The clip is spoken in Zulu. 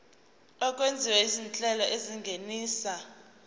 okwenziwa izinhlelo ezingenisa